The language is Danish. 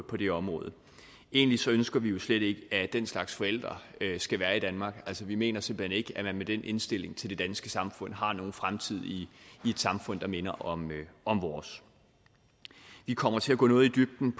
på det område egentlig ønsker vi jo slet ikke at den slags forældre skal være i danmark altså vi mener simpelt hen ikke at man med den indstilling til det danske samfund har nogen fremtid i et samfund der minder om om vores vi kommer til at gå noget i dybden